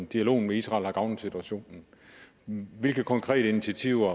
dialogen med israel har gavnet situationen hvilke konkrete initiativer